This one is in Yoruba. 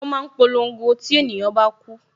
Wọn máa ń polongo tí ènìyàn bá ku